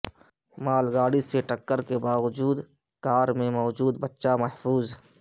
مال گاڑی سے ٹکر کے بناوجود کار میں موجود بچہ محفوظ